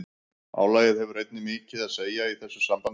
Álagið hefur einnig mikið að segja í þessu sambandi.